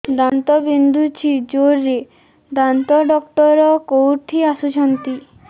ଦାନ୍ତ ବିନ୍ଧୁଛି ଜୋରରେ ଦାନ୍ତ ଡକ୍ଟର କୋଉଠି ବସୁଛନ୍ତି